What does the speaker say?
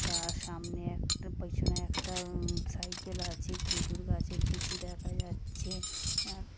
তার সামনে একটা পেছনে উম একটা সাইকেল আছে | খেজুর গাছের কিছু দেখা যাচ্ছে | আ--